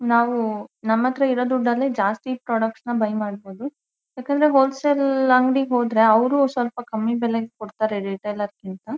ನಾವು ನಮ್ಮತ್ರ ಇರೋ ದುಡ್ಡ್ ಅಲ್ಲಿ ಜಾಸ್ತಿ ಪ್ರಾಡಕ್ಟ್ ಸ್ನ ಬಯ್ ಮಾಡಬೋದು ಬೇಕಾದ್ರೆ ಹೊಲ ಸೇಲ್ ಅಂಗಡಿಗೆ ಹೋದ್ರೆ ಅವರು ಸ್ವಲ್ಪ ಕಮ್ಮಿ ಬೆಲೆಗೆ ಕೊಡ್ತಾರೆ ರೀಟೇಲರ್ ಕ್ಕಿಂತ.